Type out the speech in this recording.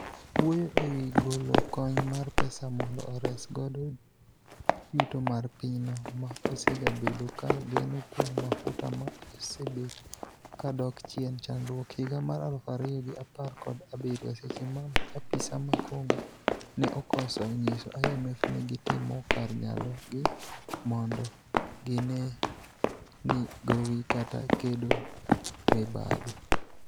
wuoyo e wi golo kony mar pesa mondo ores godo yuto mar pinyno ma osegabedo ga geno kuom mafuta ma osebet ka dok chien chakruok higa mar aluf ariyo gi apar kod abiriyo seche ma apisa ma congo ne okoso nyiso IMF ni gitimo kar nyalogi modo gine ni gowi kata kedo mibadhi